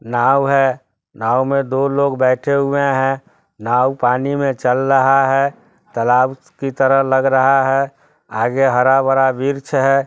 नाव है नाव में दो लोग बैठे हुए हैं नाव पानी में चल रहा है तालाब की तरह लग रहा है आगे हरा-भरा वृक्ष है।